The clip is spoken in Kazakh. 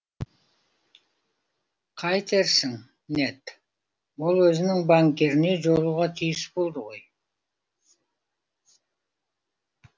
қайтерсің нед ол өзінің банкиріне жолығуға тиіс болды ғой